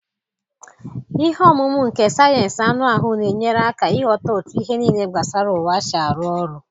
Ihe omumu nke sayensị anụ ahụ na-enyere aka ịghọta otú ihe niile gbasara ụwa si arụ ọrụ.